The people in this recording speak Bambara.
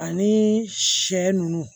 Ani sɛ ninnu